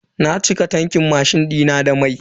Na cike tankin mashin dina da mai.